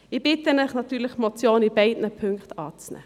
Ich bitte Sie natürlich, die Motion in beiden Punkten anzunehmen.